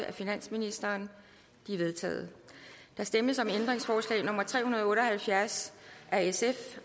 af finansministeren de er vedtaget der stemmes om ændringsforslag nummer tre hundrede og otte og halvfjerds af sf